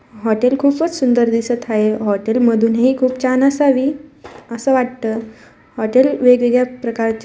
hotel खूपच सुंदर दिसत आहे हॉटेल मधून ही खूप छन असावी अस वाटत होटल वेगवेगळ्या प्रकारचे--